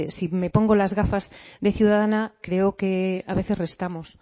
si me pongo las gafas de ciudadana creo que a veces restamos